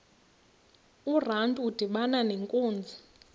urantu udibana nenkunzi